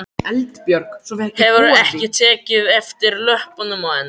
Hefurðu ekki tekið eftir löppunum á henni?